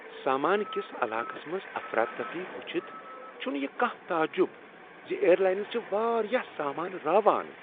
سامان کس علاقس منٛز افراتفری وچھتھ چھنہٕ یہ کانٛہہ تعجب ز ایئر لاینس چِھ واریاہ سامان راوان۔